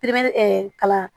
kalan